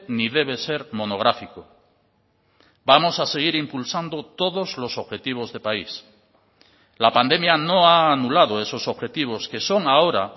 ni debe ser monográfico vamos a seguir impulsando todos los objetivos de país la pandemia no ha anulado esos objetivos que son ahora